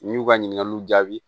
N'i y'u ka ɲininkaliw jaabi